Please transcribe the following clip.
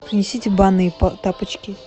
принесите банные тапочки